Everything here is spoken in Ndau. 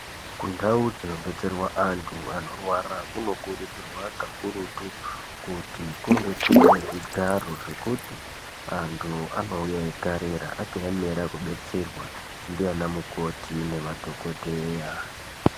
Kundau dzinobetserwa antu anorwara kunokurudzirwa kakurutu kuti kunge kuine zvigaro zvekuti antu anouya eigarira akaemera kubatsirwa ndiana mukoti nemadhokodheya.